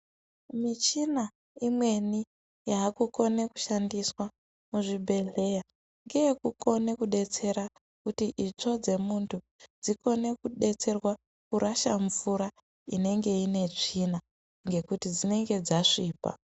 Michina imweni yaakukone kushandiswa muzvibhedhleya ngeyekukone kudetsera kuti itsvo dzemuntu dzikone kudetserwa kurasha mvura inenge ine tsvina ngekuti dzinenge dzasvipa.